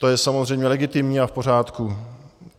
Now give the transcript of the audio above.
To je samozřejmě legitimní a v pořádku.